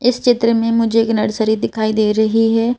इस चित्र में मुझे एक नर्सरी दिखाई दे रही है।